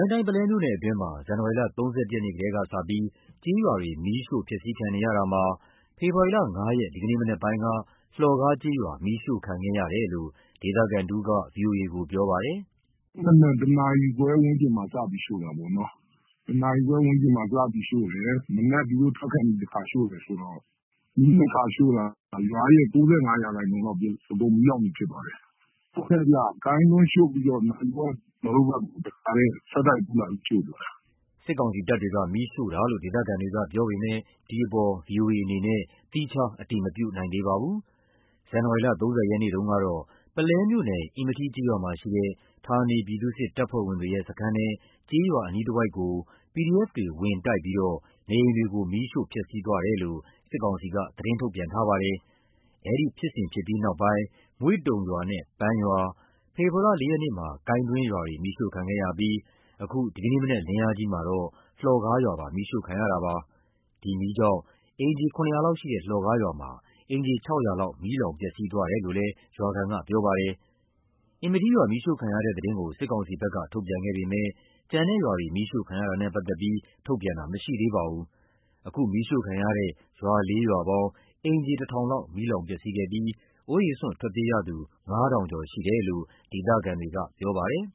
င်းတိုင်း၊ ပုလဲမြို့နယ်အတွင်းမှာ ဇန်နဝါရီလ ၃၁ ရက်နေ့ကတည်းကစပြီး ကျေးရွာတွေ မီးရှို့ဖျက်ဆီးခံနေရတာမှာ ဖေဖော်ဝါရီလ ၅ ရက် ဒီကနေ့မနက်ပိုင်းက လှော်ကားကျေးရွာ မီးရှို့ခံခဲ့ရတယ်လို့ ဒေသခံတဦးက ဗွီအိုအေကို ပြောပါတယ်။ “မနက် ၁ နာရီခွဲဝန်းကျင်မှာ စပြီးရှို့တာပေါ့။ ၁ နာရီခွဲဝန်းကျင်မှာ စပြီးရှို့တယ်၊ မနက် သူတို့ထွက်ခါနီး တခါရှို့တယ်ဆိုတော့ မီး ၂ ခါရှို့တာ ရွာရဲ့ ၉၅ ရာခိုင်နှုန်းလောက် မီးလောင်ပြင်ဖြစ်သွားတယ်။ ကိုင်းတန်းရှို့ပြီးတော့ နာရီဝက်လောက်နေတော့ တခါတည်း ဆက်တိုက်ရှို့သွားတာ။” စစ်ကောင်စီတပ်တွေက မီးရှို့တာလို့ ဒေသခံတွေက ပြောပေမယ့် ဒီအပေါ် ဗွီအိုအေအနေနဲ့ သီးခြား အတည်မပြုနိုင်သေးပါဘူး။ ဇန်နဝါရီလ ၃၀ ရက်နေ့တုန်းကတော့ ပုလဲမြို့နယ်၊ အင်မထီးကျေးရွာမှာရှိတဲ့ ဌာနေပြည်သူ့စစ် တပ်ဖွဲ့ဝင်တွေရဲ့ စခန်းနဲ့ ကျေးရွာအနီးတဝိုက်ကို PDF တွေ ဝင်တိုက်ပြီးတော့ နေအိမ်တွေကို မီးရှို့ဖျက်ဆီးသွားတယ်လို့ စစ်ကောင်စီက သတင်းထုတ်ပြန်ထားပါတယ်။ အဲဒီဖြစ်စဉ်ဖြစ်ပြီးနောက်ပိုင်း မွေ့တုံ (မွေ့ဘုံ) ရွာနဲ့ ပန်းရွာ၊ ဖေဖော်ဝါရီလ ၄ ရက်နေ့မှာ ကိုင်းတွင်းရွာတွေ မီးရှို့ခံခဲ့ရပြီး အခု ဒီကနေ့မနက် လင်းအားကြီးမှာတော့ လှော်ကားရွာပါ မီးရှို့ခံရတာပါ။ ဒီမီးကြောင့် အိမ်ခြေ ၇၀၀ လောက်ရှိတဲ့ လှော်ကားရွာမှာ အိမ်ခြေ ၆၀၀ လောက် မီးလောင်ပျက်စီးသွားတယ်လို့လည်း ရွာခံက ပြောပါတယ်။ အင်မထီးရွာ မီးရှို့ခံရတဲ့သတင်းကို စစ်ကောင်စီဘက်က ထုတ်ပြန်ခဲ့ပေမယ့် ကျန်တဲ့ရွာတွေ မီးရှို့ခံရတာနဲ့ ပတ်သက်ပြီး ထုတ်ပြန်တာ မရှိသေးပါဘူး။ အခု မီးရှို့ခံရတဲ့ ရွာလေးရွာပေါင်း အိမ်ခြေ ၁,၀၀၀ လောက် မီးလောင်ပျက်စီးခဲ့ပြီး အိုးအိမ်စွန့်ထွက်ပြေးရသူ ၅,၀၀၀ ကျော်ရှိတယ်လို့ ဒေသခံတွေက ပြောပါတယ်